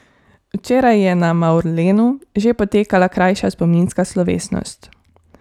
Včeraj je na Mavrlenu že potekala krajša spominska slovesnost.